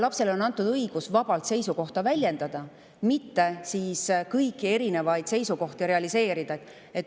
Lapsele on antud õigus vabalt seisukohta väljendada, mitte kõiki erinevaid seisukohti realiseerida.